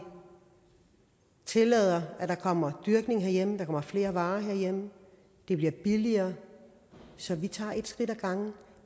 tillader at der kommer dyrkning herhjemme at der kommer flere varer herhjemme og det bliver billigere så vi tager et skridt ad gangen